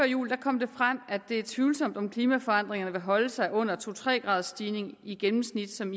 jul kom det frem at det er tvivlsomt om klimaforandringerne vil holde sig under de to tre graders stigning i gennemsnit som